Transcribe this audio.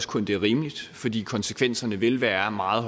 kun det er rimeligt fordi konsekvenserne vil være meget